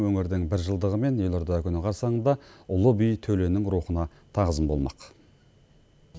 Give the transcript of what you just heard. өңірдің біржылдығы мен елорда күні қарсаңында ұлы би төленің рухына тағзым болмақ